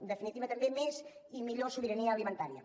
en definitiva també més i millor sobirania alimentària